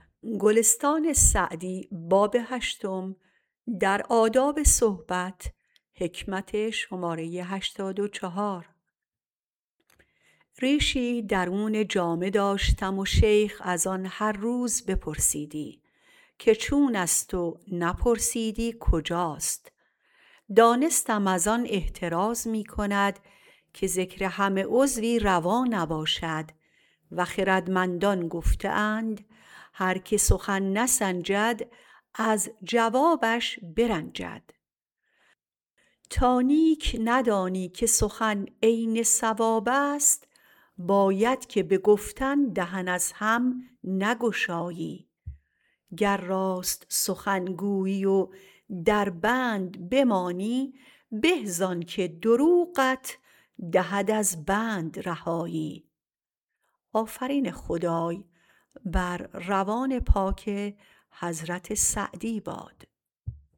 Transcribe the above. ریشی درون جامه داشتم و شیخ از آن هر روز بپرسیدی که چون است و نپرسیدی کجاست دانستم از آن احتراز می کند که ذکر همه عضوی روا نباشد و خردمندان گفته اند هر که سخن نسنجد از جوابش برنجد تا نیک ندانی که سخن عین صواب است باید که به گفتن دهن از هم نگشایی گر راست سخن گویی و در بند بمانی به زآن که دروغت دهد از بند رهایی